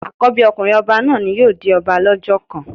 Àkọ́bí ọkùnrin ọba náà ni yóò di ọba lọ́jọ́ kan.